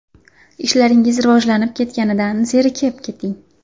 Ishlaringiz rivojlanib ketganidan zerikib keting!